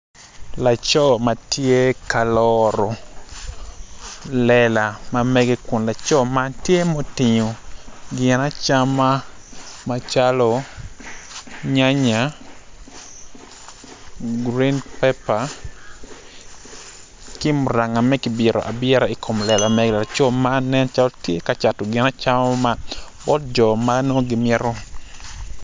Laco ma tye ka loro lela magege kun laco man tye mutingu gin acama macalo nyanya gurin pepa ki muranga ma kibito abita i kom lela laco man nen calo tye ka cato gin acama man bot jo ma nongo gimito